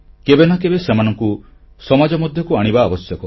କେବେ ନାକେବେ ସେମାନଙ୍କୁ ସମାଜ ମଧ୍ୟକୁ ଆଣିବା ଆବଶ୍ୟକ